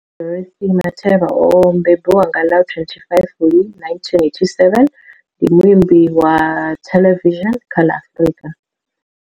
Bonang Dorothy Matheba o mbembiwa nga ḽa 25 Fulwi 1987, ndi muimbi wa theḽevishini kha ḽa Afrika.